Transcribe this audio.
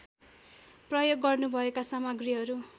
प्रयोग गर्नुभएका सामग्रीहरू